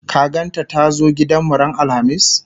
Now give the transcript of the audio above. ka gan ta da ta zo gidanmu ran alhamis?